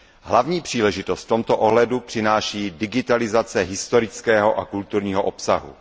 Hlavní příležitost v tomto ohledu přináší digitalizace historického a kulturního obsahu.